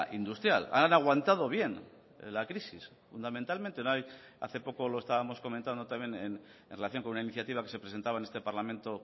industrial han aguantado bien la crisis fundamentalmente no hay hace poco lo estábamos comentando también en relación con una iniciativa que se presentaba en este parlamento